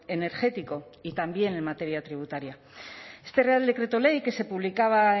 energético y también en materia tributaria este real decreto ley que se publicaba